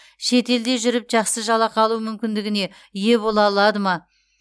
шет елде жүріп жақсы жалақы алу мүмкіндігіне ие бола алады ма